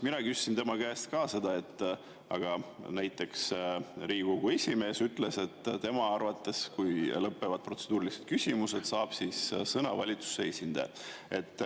Ma küsisin tema käest ka seda, et näiteks Riigikogu esimees ütles, et tema arvates, kui lõpevad protseduurilised küsimused, saab sõna valitsuse esindaja.